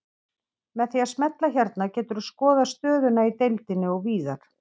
Með því að smella hérna geturðu skoðað stöðuna í deildinni og víðar.